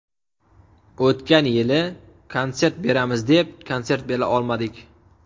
O‘tgan yili konsert beramiz deb, konsert bera olmadik.